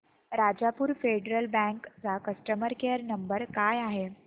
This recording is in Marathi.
राजापूर फेडरल बँक चा कस्टमर केअर नंबर काय आहे